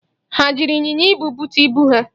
Ha jiri ịnyịnya ibu bute ibu ha?